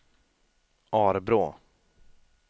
Arbrå